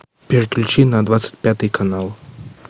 переключи на двадцать пятый канал